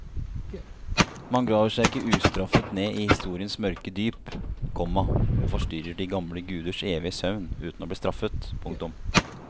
Man graver seg ikke ustraffet ned i historiens mørke dyp, komma og forstyrrer de gamle guders evige søvn uten å bli straffet. punktum